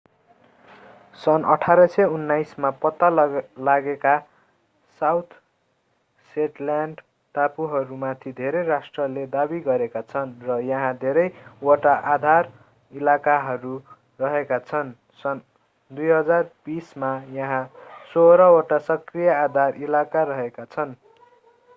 सन्‌ 1819 मा पत्ता लागेका साउथ शेटल्याण्ड टापुहरूमाथि धेरै राष्ट्रहरूले दाबी गरेका छन् र यहाँ धेरै वटा आधार इलाकाहरू रहेका छन्। सन् 2020 मा यहाँ सोह्र वटा सक्रिय आधार इलाका रहेका छन्।